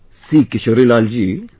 See Kishorilal ji...